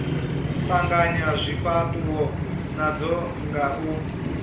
tanganya zwifhatuwo nadzo nga u